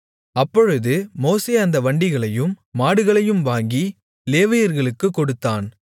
அப்பொழுது மோசே அந்த வண்டிகளையும் மாடுகளையும் வாங்கி லேவியர்களுக்குக் கொடுத்தான்